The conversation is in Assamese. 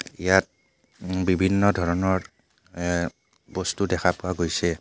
ইয়াত উম বিভিন্ন ধৰণৰ এহ বস্তু দেখা পোৱা গৈছে.